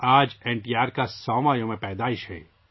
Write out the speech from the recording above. آج N T R کی 100 ویں یوم پیدائش ہے